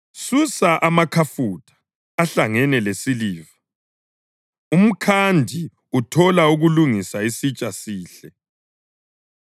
Susa amakhafutha ahlangene lesiliva umkhandi athole ukulungisa isitsha sihle;